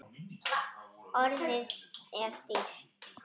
Orðið er dýrt.